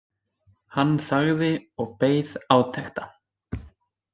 Hann þagði og beið átekta.